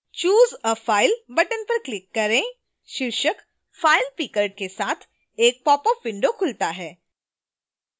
choose a file button पर click करें शीर्षक file pickerके साथ एक popअप window खुलता है